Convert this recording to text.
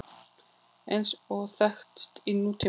eins og þekkist í nútímanum.